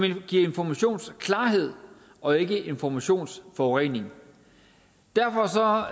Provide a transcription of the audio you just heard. giver informationsklarhed og ikke informationsforurening